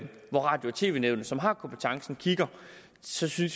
hvor radio og tv nævnet som har kompetencen kigger synes vi